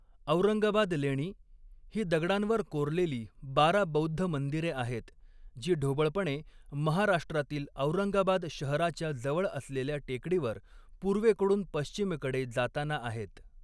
औरंगाबाद लेणी ही दगडांवर कोरलेली बारा बौद्ध मंदिरे आहेत, जी ढोबळपणे महाराष्ट्रातील औरंगाबाद शहराच्या जवळ असलेल्या टेकडीवर पूर्वेकडून पश्चिमेकडे जाताना आहेत.